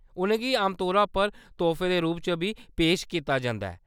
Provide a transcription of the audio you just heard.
उʼनें गी आमतौरैा पर तोह्‌‌फे दे रूप च बी पेश कीता जंदा ऐ।